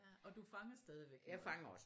Og du fanger stadigvæk noget?